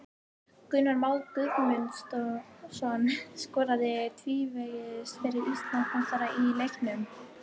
Gunnar Már Guðmundsson skoraði tvívegis fyrir Íslandsmeistarana í leiknum.